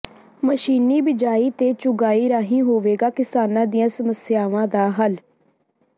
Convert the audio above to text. ਮਸ਼ੀਨੀ ਬੀਜਾਈ ਤੇ ਚੁਗਾਈ ਰਾਹੀਂ ਹੋਵੇਗਾ ਕਿਸਾਨਾਂ ਦੀਆਂ ਸਮੱਸਿਆਵਾਂ ਦਾ ਹੱਲ